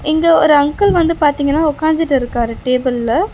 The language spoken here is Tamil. இங்க ஒரு அங்கிள் வந்து பாத்தீங்கனா உக்காஞ்சிட்டிருக்காரு டேபிள்ல .